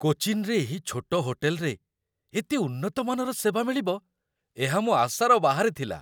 କୋଚିନ୍‌ରେ ଏହି ଛୋଟ ହୋଟେଲରେ ଏତେ ଉନ୍ନତ ମାନର ସେବା ମିଳିବ, ଏହା ମୋ ଆଶାର ବାହାରେ ଥିଲା!